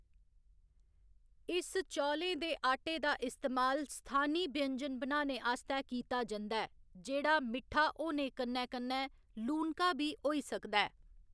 इस चौलें दे आटे दा इस्तेमाल स्थानी व्यंजन बनाने आस्तै कीता जंदा ऐ जेह्‌‌ड़ा मिट्ठा होने कन्नै कन्नै लूनका बी होई सकदा ऐ।